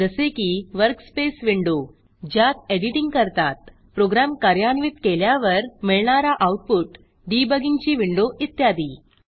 जसे की workspace window ज्यात एडिटिंग करतात प्रोग्रॅम कार्यान्वित केल्यावर मिळणारा आऊटपुट डिबगींगची विंडो इत्यादी